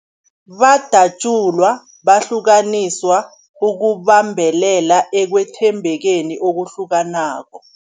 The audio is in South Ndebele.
Badatjulwa, bahlukaniswa ukubambelela ekwethembekeni okuhlukanako.